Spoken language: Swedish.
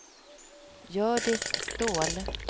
Hjördis Ståhl